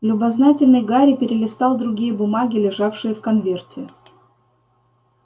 любознательный гарри перелистал другие бумаги лежавшие в конверте